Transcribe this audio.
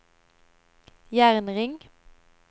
jernring